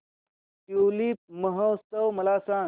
tulip महोत्सव मला सांग